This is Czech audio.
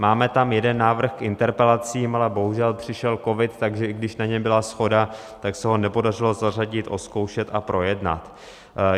Máme tam jeden návrh k interpelacím, ale bohužel přišel covid, takže i když na něm byla shoda, tak se ho nepodařilo zařadit, ozkoušet a projednat.